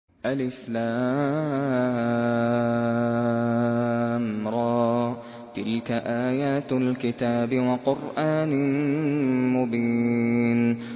الر ۚ تِلْكَ آيَاتُ الْكِتَابِ وَقُرْآنٍ مُّبِينٍ